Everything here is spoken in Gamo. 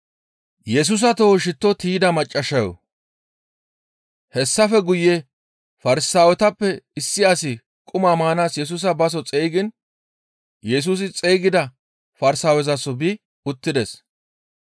Hessafe guye Farsaawetappe issi asi quma maanaas Yesusa baso xeygiin Yesusi xeygida Farsaawezaso bi uttides.